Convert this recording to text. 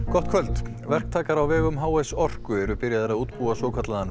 gott kvöld verktakar á vegum h s Orku eru byrjaðir að útbúa svokallaðan